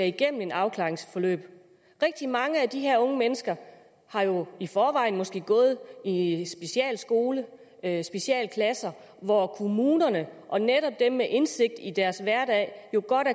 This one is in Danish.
igennem et afklaringsforløb rigtig mange af de her unge mennesker har jo i forvejen måske gået i specialskoler eller specialklasser hvor kommunerne og netop dem med indsigt i deres hverdag godt